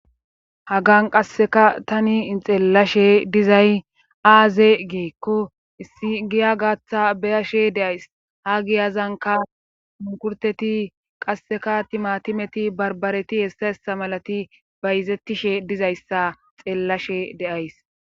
Hagan qasseka tani ixeellashe dizay aaze geekko issi giya gaaththa beyashe deays ha giyazanka mumukurteti qasseka timatimeti barbareti hessa hessa malati bayzettishe dizayssa xeellashe deays.